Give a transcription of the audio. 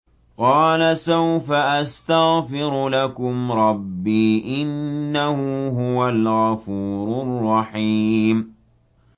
قَالَ سَوْفَ أَسْتَغْفِرُ لَكُمْ رَبِّي ۖ إِنَّهُ هُوَ الْغَفُورُ الرَّحِيمُ